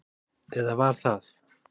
Eða var það?